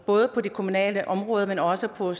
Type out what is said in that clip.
både på det kommunale område men også på